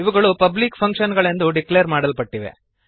ಇವುಗಳು public function ಗಳೆಂದು declare ಮಾಡಲ್ಪಟ್ಟಿವೆ